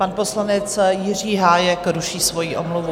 Pan poslanec Jiří Hájek ruší svoji omluvu.